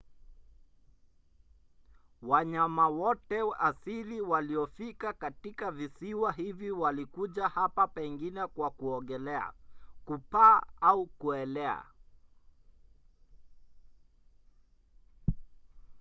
wanyama wote asili waliofika katika visiwa hivi walikuja hapa pengine kwa kuogelea kupaa au kuelea